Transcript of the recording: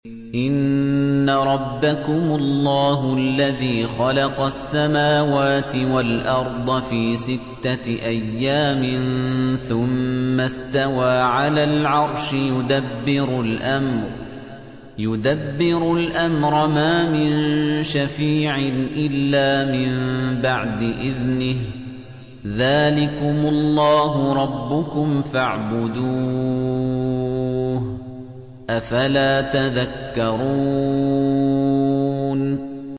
إِنَّ رَبَّكُمُ اللَّهُ الَّذِي خَلَقَ السَّمَاوَاتِ وَالْأَرْضَ فِي سِتَّةِ أَيَّامٍ ثُمَّ اسْتَوَىٰ عَلَى الْعَرْشِ ۖ يُدَبِّرُ الْأَمْرَ ۖ مَا مِن شَفِيعٍ إِلَّا مِن بَعْدِ إِذْنِهِ ۚ ذَٰلِكُمُ اللَّهُ رَبُّكُمْ فَاعْبُدُوهُ ۚ أَفَلَا تَذَكَّرُونَ